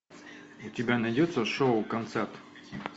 у тебя найдется шоу концерт